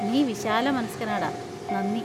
നീ വിശാലമനസ്കനാടാ, നന്ദി.